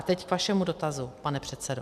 A teď k vašemu dotazu, pane předsedo.